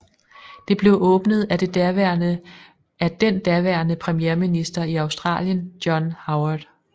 Det blev åbnet af den daværende premierminister i Australigen John Howard